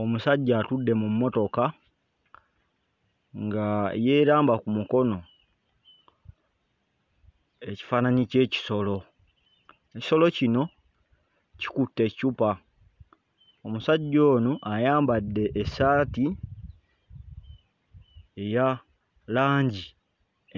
Omusajja atudde mu mmotoka nga yeeramba ku mukono ekifaananyi ky'ekisolo. Ekisolo kino kikutte eccupa, omusajja ono ayambadde essaati eya langi